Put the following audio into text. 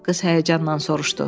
Qız həyəcanla soruşdu.